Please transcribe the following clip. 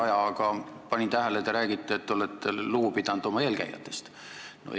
Aga ma panin tähele, et te rääkisite, et olete oma eelkäijatest lugu pidanud.